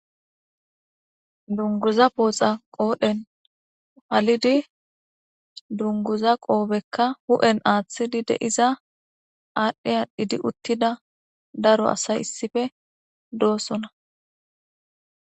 Dunguza pooxa qoodhen halidi dunguza qoobekka hu'en aaththidi deiza aadhdhe aadhdhidi uttida daro asay issife doosona